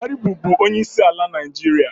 Buhari bụbu onye isi ala Naịjirịa.